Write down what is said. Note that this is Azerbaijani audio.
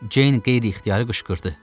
Ceyn qeyri-ixtiyari qışqırdı.